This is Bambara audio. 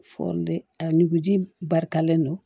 a nuguji barikalen don